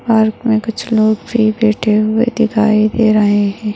Park मे कुछ लोग फ्री बैठे हुए दिखाई दे रहे है।